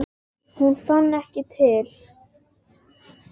Hún fann ekki til.